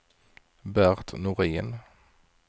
Bert Norin